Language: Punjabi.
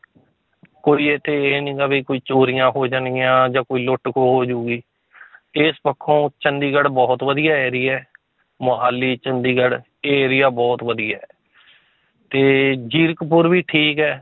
ਕੋਈ ਇੱਥੇ ਇਹ ਨੀ ਗਾ ਵੀ ਕੋਈ ਚੋਰੀਆਂ ਹੋ ਜਾਣਗੀਆਂ ਜਾਂ ਕੋਈ ਲੁੱਟ ਖੋ ਹੋ ਜਾਊਗੀ ਇਸ ਪੱਖੋਂ ਚੰਡੀਗੜ੍ਹ ਬਹੁਤ ਵਧੀਆ area ਹੈ ਮੁਹਾਲੀ, ਚੰਡੀਗੜ੍ਹ, ਇਹ area ਬਹੁਤ ਵਧੀਆ ਹੈ ਤੇ ਜੀਰਖਪੁਰ ਵੀ ਠੀਕ ਹੈ